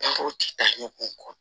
ti taa ɲɔgɔn kɔ